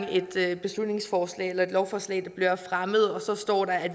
et beslutningsforslag eller lovforslag der bliver fremmet og så står der